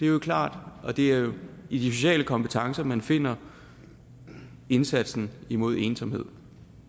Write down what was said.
jo klart at det er i de sociale kompetencer man finder indsatsen imod ensomhed